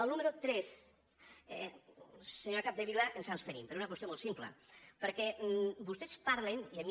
al número tres senyora capdevila ens hi abstenim per una qüestió molt simple perquè vostès parlen i a mi